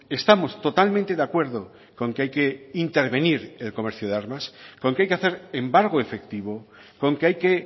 estamos totalmente de acuerdo con que hay que intervenir el comercio de armas con que hay que hacer embargo efectivo con que hay que